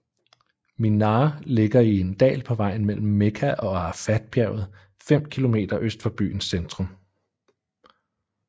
Minā ligger i en dal på vejen mellem Mekka og Arafatbjerget fem kilometer øst for byens centrum